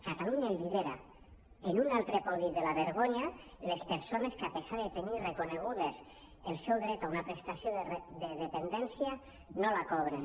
catalunya lidera en un altre podi de la vergonya les perso·nes que a pesar de tenir reconegut el seu dret a una prestació de dependència no la cobren